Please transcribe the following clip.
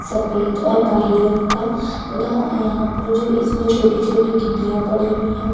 सफदे और काहै रंग का तथा यहाँ पर जो इसमें छोटी - छोटी गिट्टियां पड़ी हुई है।